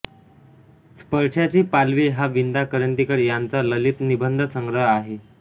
स्पर्शाची पालवी हा विंदा करंदीकर यांचा ललितनिबंधसंग्रह आहे